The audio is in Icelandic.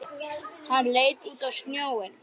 Hann leit út á sjóinn.